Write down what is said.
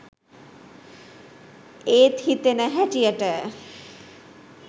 එත් හිතෙන හැටියට